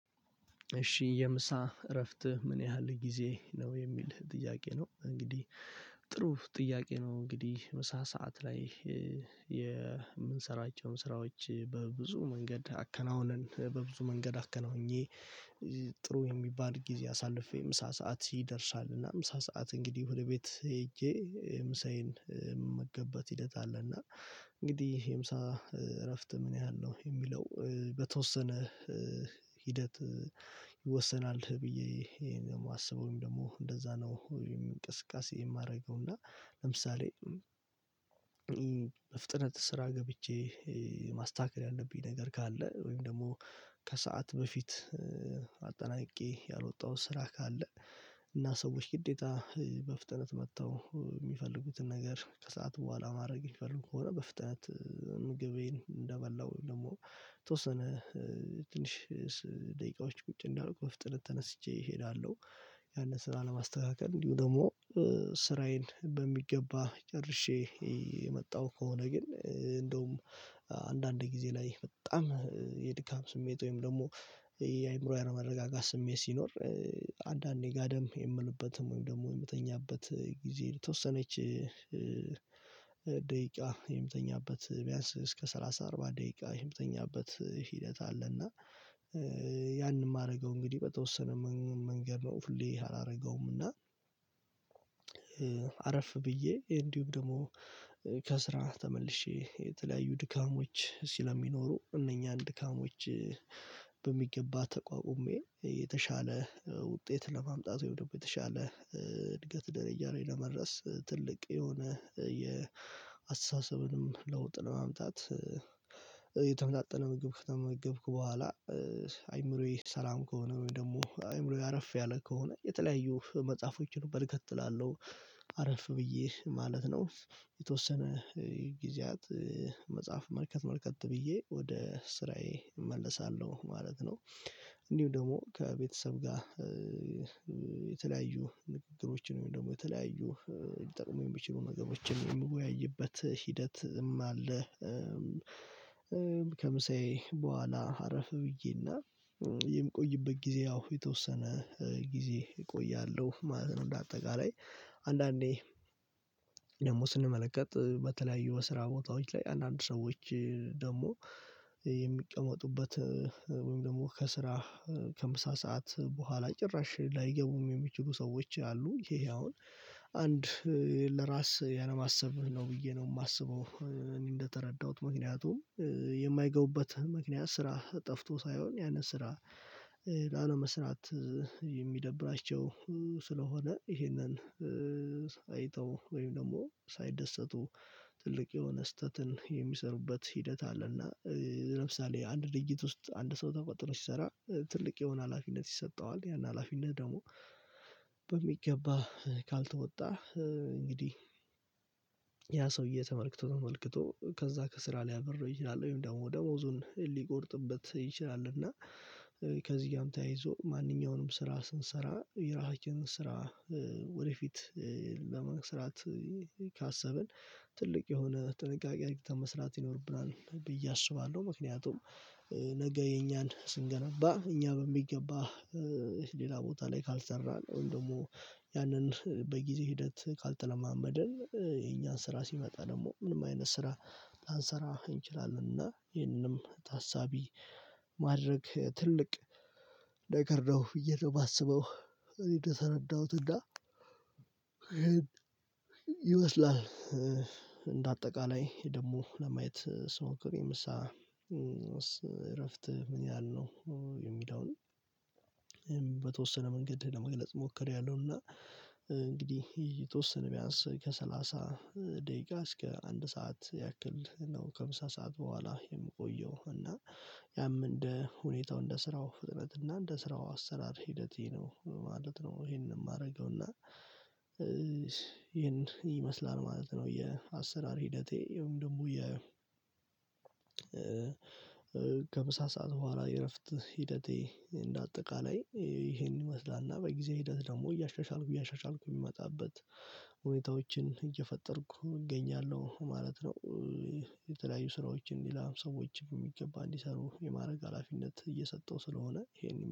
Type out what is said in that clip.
እሺ የምሳ እረፍት ምን ያህል ጊዜ ነው የሚል ጥያቄ ነው? እንግዲህ ጥሩ ጥያቄ ነው እንግዲህ ምሳ ሰዓት ላይ የምንሰራቸውን ስራዎች በብዙ መንገድ አከናውነን በብዙ መንገድ አከናውኜ። ጥሩ የሚባል ጊዜ አሳልፌ ምሳ ሰዓት ይደርሳል እና ምሳ ሰዓት እንግዲህ ወደ ቤት ሄጄ ምሳዬን የምመገብበት ሂደት አለና እና እንግዲህ ምሳ እረፍት አለው። ወይ ለሚለው በተወስነ ሂደት ይወሰናል። ብዬ ነው የማስበው ወይም ደግሞ እንደዛ ነው ሁሌም እንቅስቃሴ የማደርገው እና። ለምሳሌ በፍጥነት ስራ ገብቼ ማስተካከል ያለብኝ ነገር ካለ ወይም ደግሞ ከሰአት በፊት አጠናቅቄ ያልወጣሁት ስራ ካለ እና ሰዎች ግዴታ በፍጥነት መጥተው የሚፈልጉትን ነገር ከሰአት በኋላ ማድረግ የሚፈልጉ ከሆነ በፍጥነት ምግቤን እንደበላሁ ደግሞ የተወሰነ ትንሽ ደቂቃዎች ቁጭ እንዳልኩ በፍጥነት ተነስቼ እሄዳለሁ። ያንን ስራ ለማስተካከል እንዲሁም ደግሞ ስራዬን በሚገባ ጨርሼ የመጣሁ ከሆነ ግን እንደውም አንዳንድ ጊዜ ላይ በጣም የድካም ስሜት ወይም ደግሞ የአእምሮ ያለመረጋጋት ስሜት ሲኖር አንዳንዴ ጋደም የምልበትም ወይም ደግሞ የምተኛበት ጊዜ የተወሰነች ደቂቃ የምተኛበት ቢያንስ እስከ ሰላሳ አርባ ደቂቃ የምተኛበት ሂደት አለ። እና ያን የማደርገው እንግዲህ በተወሰነ መንገድ ነው ሁሌ አላደርገውም። እና አረፍ ብዬ እንዲሁም ደግሞ ከስራ ተመልሼ የተለያዩ ድካሞች ስለሚኖሩ እነኛን ድካሞች በሚገባ ተቋቁሜ የተሻለ ውጤት ለማምጣት ወይ ደግሞ የተሻለ እድገት ደረጃ ላይ ለመድረስ ትልቅ የሆነ የአስተሳሰብንም ለውጥ ለማምጣት የተመጣጠነ ምግብ ከተመገብኩ በኋላ አእምሮዬ ሰላም ከሆነ ወይ ደግሞ አእምሮዬ አረፍ ያለ ከሆነ የተለያዩ መጽሐፎችን መልከት እላለሁ አረፍ ብዬ ማለት ነው። ይተወሰነ ግዜያት መጽሐፍ መልከት መልከት ብዬ ወደ ስራዬ እመለሳለሁ ማለት ነው። እንዲሁ ደግሞ ከቤተሰብ ጋር የተለያዩ ንግግሮችን ወይም ደግሞ የተለያዩ ሊጠቅሙ የሚችሉ ነገሮችን የሚወያይበት ሂደትም አለ። ከምሳዬ በኋላ አረፍ ብዬና የምቆይበት ጊዜ ያው የተወሰነ ጊዜ እቆያለሁ ማለት ነው። እንደ አጠቃላይ አንዳንዴ ደግሞ ስንመለከት በተለያዩ የስራ ቦታዎች ላይ አንድአንድ ሰዎች ደግሞ የሚቀመጡበት ወይም ደግሞ ከስራ ከምሳ ሰዓት በኋላ ጭራሽ ላይገቡም የሚችሉ ሰዎች አሉ። ይሄ አሁን አንድ ለራስ ያለማሰብ ነው ብዬ ነው የማስበው። እኔ እንደተረዳሁት ምክንያቱም የማይገቡበት ምክንያት ስራ ጠፍቶ ሳይሆን ያን ስራ ላለመስራት የሚደብራቸው ስለሆነ ይህን አይተው ወይም ደግሞ ሳይደሰቱ ትልቅ የሆነ ስህተትን የሚሰሩበት ሂደት አለና ለምሳሌ አንድ ድርጅት ውስጥ አንድ ሰው ተቀጥሮ ሲሰራ ትልቅ የሆነ ሀላፊነት ይሰጠዋል ያን ሀላፊነት ደግሞ በሚገባ ካልተወጣ እንግዲህ ያ ሰውዬ ተመልክቶ ተመልክቶ ከዛ ከስራ ሊያባርረው ይችላል ወይም ደግሞ ደሞዙን ሊቆርጥበት ይችላል። እና ከዚህ ጋርም ተያይዞ ማንኛውንም ስራ ስንሰራ የራሳችንን ስራ ወደፊት ለመስራት ካሰብን ትልቅ የሆነ ጥንቃቄ አድርገን መስራት ይኖርብናል ብዬ አስባለሁ። ምክንያቱም ነገ የኛን ስንገነባ እኛ በሚገባ ሌላ ቦታ ላይ ካልሰራን ወይም ደግሞ ያን በጊዜ ሂደት ካልተለማመድን የኛ ስራ ሲመጣ ደግሞ ምንም አይነት ስራ ላንሰራ እንችላለን እና ይህንንም ታሳቢ ማድረግ ትልቅ ነገር ነው ብዬ ነው የማስበው። እኔ እንደተረዳሁት ይሄን ይመስላል። እንደ አጠቃላይ ደግሞ ለማየት ስሞክር የምሳ እረፍት ምን ያህል ነው የሚለውን በተወሰነ መንገድ ለመግለጽ ሞክሬያለሁና እንግዲህ የተወሰነ ቢያንስ ከሰላሳ ደቂቃ እስከ አንድ ሰዓት ያክል ነው። ከምሳ ሰዓት በኋላ የምቆየው እና ያም እንደ ሁኔታው እንደ ስራው ፍጥነት እና እንደ ስራው አሰራር ሂደት ነው ማለት ነው። ይህን የማደርገው እና ይህን ይመስላል ማለት ነው። የአሰራር ሂደቴ ወይም ደግሞ የ ከምሳ ሰዓት በኋላ የእረፍት ሂደቴ እንደ አጠቃላይ ይህን ይመስላል እና በጊዜ ሂደት ደግሞ እያሻሻልኩ እያሻሻልኩ የምመጣበት ሁኔታዎችን እየፈጠርኩ እገኛለሁ ማለት ነው። የተለያዩ ስራዎችን ሌላም ሰዎችን በሚገባ እንዲሰሩ የማድረግ ሀላፊነት እየሰጠው ስለሆነ ይህንን